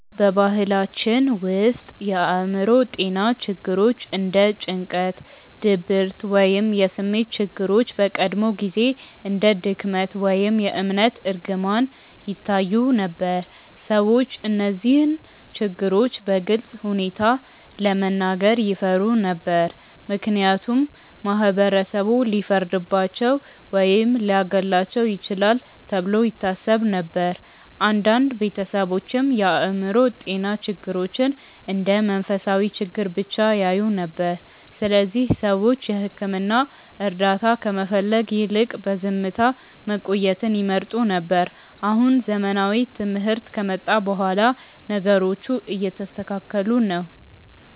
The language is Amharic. በባህላችን ውስጥ የአእምሮ ጤና ችግሮች እንደ ጭንቀት፣ ድብርት ወይም የስሜት ችግሮች በቀድሞ ጊዜ እንደ ድክመት ወይም የእምነት እርግማን ይታዩ ነበር። ሰዎች እነዚህን ችግሮች በግልፅ ሁኔታ ለመናገር ይፈሩ ነበር፣ ምክንያቱም ማህበረሰቡ ሊፈርድባቸው ወይም ሊያገለልባቸው ይችላል ተብሎ ይታሰብ ነበር። አንዳንድ ቤተሰቦችም የአእምሮ ጤና ችግሮችን እንደ መንፈሳዊ ችግር ብቻ ያዩ ነበር፣ ስለዚህ ሰዎች የሕክምና እርዳታ ከመፈለግ ይልቅ በዝምታ መቆየትን ይመርጡ ነበር። አሁን ዘመናዊ ትምህርት ከመጣ በኋላ ነገሮቹ እየተስተካከሉ ነው።